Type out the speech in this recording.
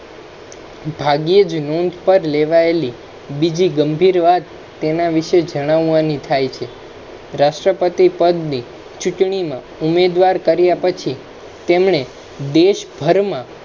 ભાગ્યે જ નોંધ પર લેવાયેલી બીજી ગંભીર વાત તેના વિશે જણાવાની થાય છે રાષ્ટ્રપતિ પદની ચૂંટણી મા ઉમેદવાર કર્યા પછી તેમેને દેશભરમા,